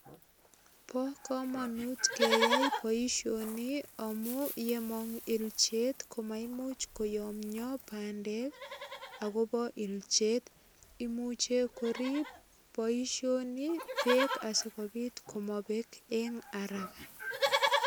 Bo kamanut keyai boisioni amun yemong ilchet komaimuch koyomyo bandek agobo ilchet. Imuche korip boisioni korip beek asigopit komabek en araga.